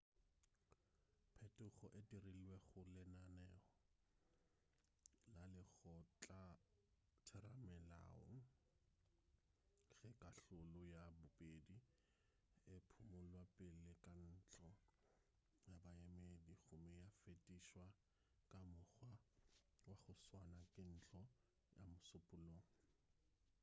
phetogo e dirilwe go lenaneo la lekgotlatheramelao ge kahlolo ya bobedi e phumulwa pele ke ntlo ya baemedi gomme ya fetišwa ka mokgwa wa go swana ke ntlo ya mošupulogo